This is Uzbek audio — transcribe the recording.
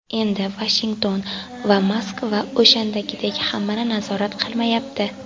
Endi Vashington va Moskva o‘shandagidek hammani nazorat qilmayapti.